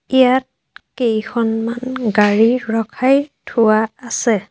ইয়াত কেইখনমান গাড়ী ৰখাই থোৱা আছে।